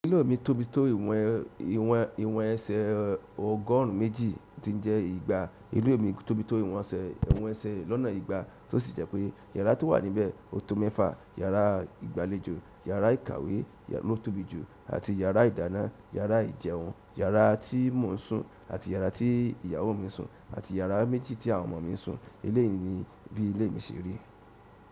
Parlor mi tóbi tó iwọn ese ọgọrun méjì ti n je egba. Ilé mi tóbi tó ìwọ̀n ẹsẹ̀ lọ́nà ìgbà tó sì jẹ́ pé yàrá tó wà níbẹ̀ ó tó mẹ́fa. Yàrá ìgbàlejò, yàrá ìkàwé ló tóbi jù àti yàrá ìdáná, yàrá ìjẹun, yàrá tí mo ń sùn àti yàrá tí ìyàwó mi ń sùn àti yàrá méjì tí àwọn ọmọ mi ń sùn. Elé yìí ni bí ilé mi ṣe rí.